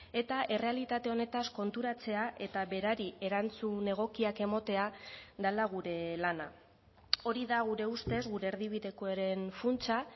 eta errealitate honetaz konturatzea eta berari erantzun egokiak ematea dela gure lana hori da gure ustez gure erdibidekoaren funtsa